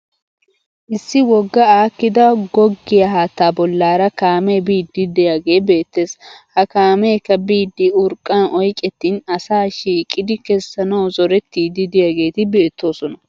Issi wogga aakkidi goggiya haattaa bollaara kaamee biidi de'iyaagee beettes. Ha kaameekka biidi urqqan oyqettin asa shiiqidi kessanawu zorettiiddi de'iyaageeti beettoosona.